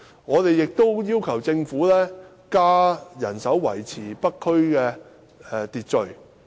我們亦要求政府增加人手維持北區的秩序。